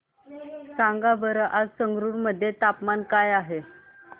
सांगा बरं आज संगरुर मध्ये तापमान काय आहे